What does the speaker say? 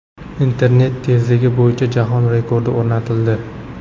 Internet tezligi bo‘yicha jahon rekordi o‘rnatildi.